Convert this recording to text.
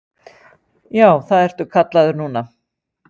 Já, það ertu kallaður núna.